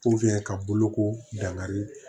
ka boloko dangari